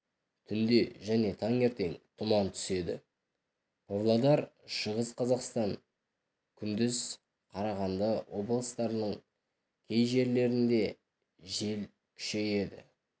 түнде және таңертең тұман түседі павлодар шығыс қазақстан күндіз қарағанды облыстарының кей жерлерінде жел күшейеді